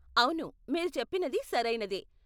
అవును, మీరు చెప్పినది సరైనదే.